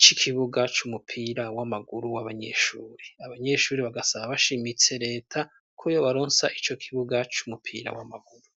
c'ikibuga c'umupira w'amaguru w'abanyeshuri . Abanyeshuri bagasaba bashimitse leta ko yo baronsa ico kibuga c'umupira w'amaguru.